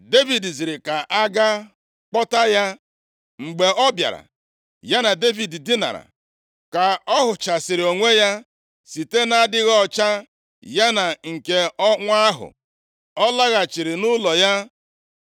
Devid ziri ka a gaa kpọta ya. Mgbe ọ bịara, ya na Devid dinara. (Ka ọ ghụchasịrị onwe ya site nʼadịghị ọcha ya nke ọnwa ahụ.) Ọ laghachiri nʼụlọ ya.